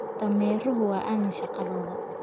Dameeruhu waa aamin shaqadooda.